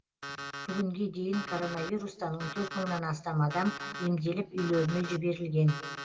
бүгінге дейін коронавирустан он төрт мыңнан астам адам емделіп үйлеріне жіберілген